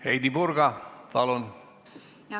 Heidy Purga, palun!